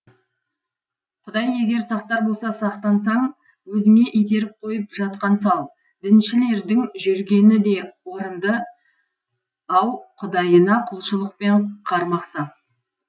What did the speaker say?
құдай егер сақтар болса сақтансаң өзіңе итеріп қойып жатқан сал діншілдердің жүргені де орынды ау құдайына құлшылықпен қармақ сап